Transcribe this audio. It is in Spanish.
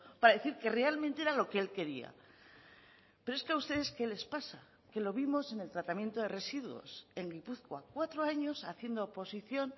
para decir que realmente era lo que él quería pero es que a ustedes qué les pasa que lo vimos en el tratamiento de residuos en gipuzkoa cuatro años haciendo oposición